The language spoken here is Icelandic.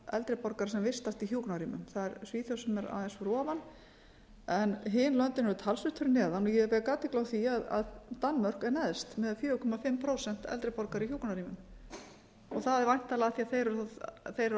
eldri borgara sem vistast í hjúkrunarrýmum það er svíþjóð sem er aðeins fyrir ofan en hin löndin eru talsvert fyrir neðan ég vek athygli á því að danmörk er neðst með fjögur og hálft prósent eldri borgara í hjúkrunarrýmum það er væntanlega af því þeir eru að